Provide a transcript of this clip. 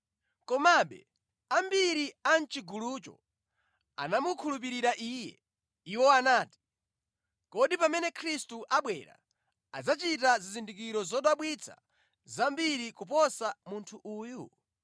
Komabe, ambiri a mʼchigulucho anamukhulupirira Iye. Iwo anati, “Kodi pamene Khristu abwera, adzachita zizindikiro zodabwitsa zambiri kuposa munthu uyu?”